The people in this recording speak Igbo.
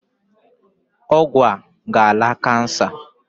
Ọgwụ a ga-ala kansa.